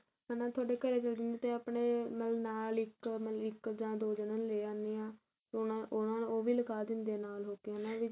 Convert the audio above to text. ਹਨਾ ਤੁਹਾਡੇ ਘਰੇ ਚਲੇ ਜਾਂਦੇ ਆ ਤੇ ਆਪਣੇ ਮਤਲਬ ਨਾਲ ਇੱਕ ਮਤਲਬ ਇੱਕ ਜਾਂ ਦੋ ਜਾਣਿਆਂ ਨੂੰ ਲੈ ਆਨੇ ਆ ਉਹਨਾ ਉਹਨਾ ਉਹ ਵੀ ਲਗਾ ਦਿੰਦੇ ਆ ਨਾਲ ਹੋ ਕੇ ਹਨਾ ਵੀ